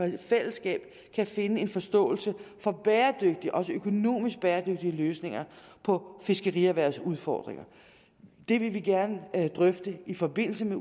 i fællesskab kan finde en forståelse for bæredygtige og også økonomisk bæredygtige løsninger på fiskerierhvervets udfordringer det vil vi gerne drøfte i forbindelse med